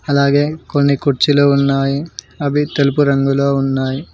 అలాగే కొన్ని కుర్చీలు ఉన్నాయి అవి తెలుపు రంగులో ఉన్నాయి.